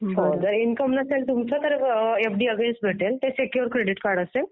जर इनकम नसेल तुमचं तर एफडी अगेन्स्ट मिळेल, ते सेक्युअर्ड क्रेडिट कार्ड असेल